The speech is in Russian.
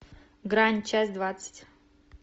грань часть двадцать